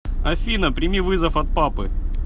афина прими вызов от папы